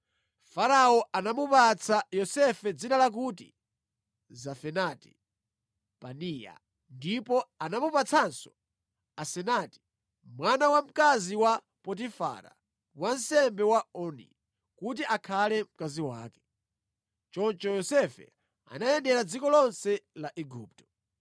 Farao anamupatsa Yosefe dzina lakuti Zafenati-Panea ndipo anamupatsanso Asenati mwana wa mkazi wa Potifara, wansembe wa Oni, kuti akhale mkazi wake. Choncho Yosefe anayendera dziko lonse la Igupto.